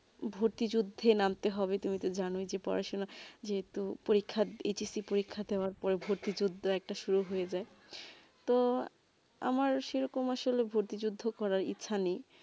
ভর্তি জোড্ডা নামতে তুমি তো জানো ই পড়াশোনা যে তো পরীক্ষা H S C পরীক্ষা তে আবার পড়া ভর্তি জোড্ডা একটা সুযোগ হয়ে যায় তো আমার সেই রকম আসলে ভর্তিযোদ্দ করা ইচ্ছা নেই